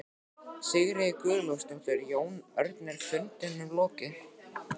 Sigríður Guðlaugsdóttir: Jón Örn, er fundinum lokið?